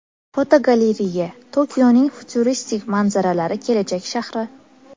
Fotogalereya: Tokioning futuristik manzaralari kelajak shahri.